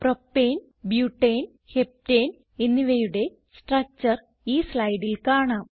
propane butane heptane എന്നിവയുടെ structure ഈ സ്ലൈഡിൽ കാണാം